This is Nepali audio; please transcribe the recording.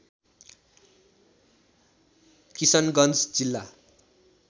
किशनगञ्ज जिल्ला